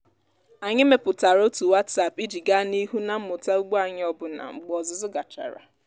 anyị mepụtara otu whatsapp iji gaa n'ihu na mmụta ugbo anyị ọbụna mgbe ọzụzụ gachara.